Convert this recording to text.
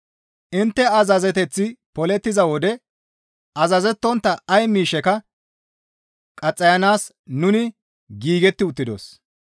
Intte azazeteththi polettiza wode azazettontta ay miishsheka qaxxayanaas nuni giigetti uttidos.